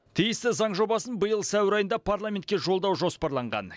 тиісті заң жобасын биыл сәуір айында парламентке жолдау жоспарланған